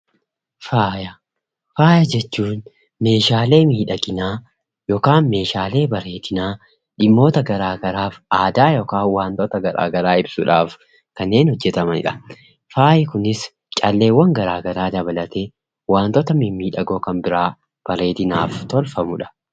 Faaya: Faaya jechuun meeshaalee miidhaginaa yookaan meeshaalee bareedinaa dhimmoota garaa garaaf aadaa yookaan waantoota garaa garaa ibsuudhaaf kanneen hojjetamanidha. Faayi kunis calleewwan garaa garaa dabalatee, waantota mimmiidhagoo kan biraa bareedinaaf tolfamudha.